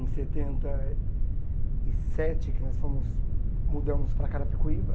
em setenta e sete, que nós fomos mudamos para Carapicuíba.